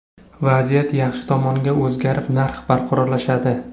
Vaziyat yaxshi tomonga o‘zgarib, narx barqarorlashadi.